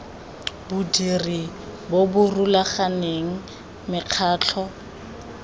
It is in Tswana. bodiri bo bo rulaganeng mekgatlho